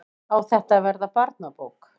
Á þetta að verða barnabók?